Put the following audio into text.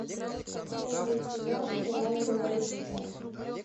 первый сезон сериала революция